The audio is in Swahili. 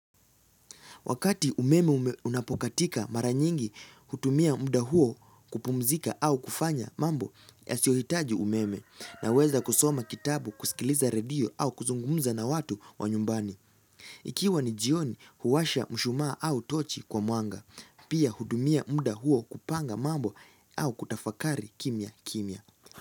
Wakati umeme unapokatika mara nyingi, hutumia muda huo kupumzika au kufanya mambo yasiyohitaji umeme, naweza kusoma kitabu, kusikiliza radio au kuzungumza na watu wa nyumbani. Ikiwa ni jioni huwasha mshumaa au tochi kwa mwanga, pia hutumia mda huo kupanga mambo au kutafakari kimya kimya.